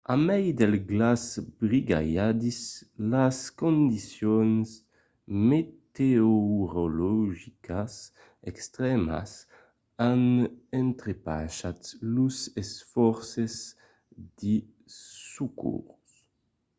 a mai del glaç brigalhadís las condicions meteorologicas extrèmas an entrepachat los esfòrces de socors